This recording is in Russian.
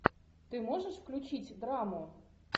ты можешь включить драму